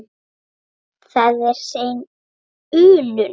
Það er hrein unun.